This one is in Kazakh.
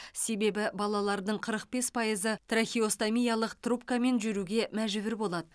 себебі балалардың қырық бес пайызы трахеостомиялық трубкамен жүруге мәжбүр болады